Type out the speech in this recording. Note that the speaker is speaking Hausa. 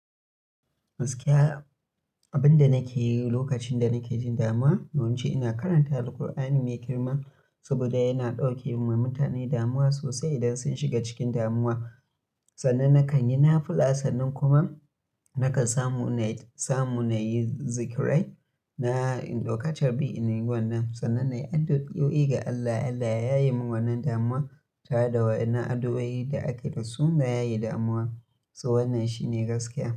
Gaskiya abin da nake yi lokacin da nake jin damuwa, yawanci ina karanta Alqur'ani mai girma saboda yana ɗauke wa mutane damuwa sosai idan sun shiga cikin damuwa. Sannan nakan yi nafula, sannan kuma nakan samu samu na yi zikrai na in dauka charbi in neme wannan. Sannan na yi addu'o'i ga Allah, Allah ya yaye min wannan damuwa tare da wa'innan addu'o'i da ake da su na yayi damuwa. So wannan shine gaskiya.